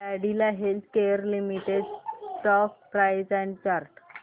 Cadila healthcare limited stock price and chart